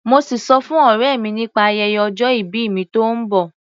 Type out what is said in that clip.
Mo sì sọ fún ọ̀rẹ́ mi nípa ayẹyẹ ọjọ ìbí mi tó ń bọ̀.